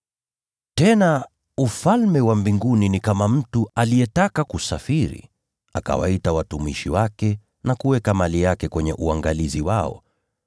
“Tena, Ufalme wa Mbinguni ni kama mtu aliyetaka kusafiri, naye akawaita watumishi wake na kuweka mali yake kwenye uangalizi wao.